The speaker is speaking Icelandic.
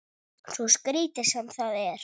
Svo skrítið sem það er.